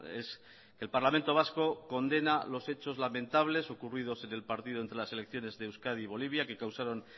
es el parlamento vasco condena los hechos lamentables ocurridos en el partido entre las elecciones de euskadi y bolivia que causaron